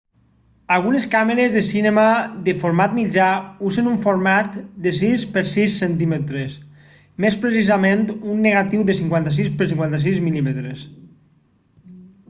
algunes càmeres de cinema de format mitjà usen un format de 6 per 6 cm més precisament un negatiu de 56 per 56 mm